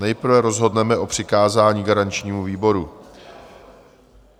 Nejprve rozhodneme o přikázání garančnímu výboru.